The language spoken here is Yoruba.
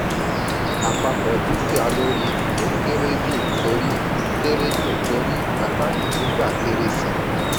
àpapọ̀ dúkìá lórí ìwé kéré jù torí kéré jù torí àkántì tó gba kéré sí.